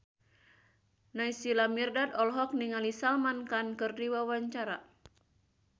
Naysila Mirdad olohok ningali Salman Khan keur diwawancara